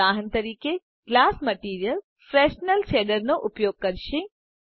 ઉદાહરણ તરીકે glass material Fresnel શેડરનો ઉપયોગ કરશે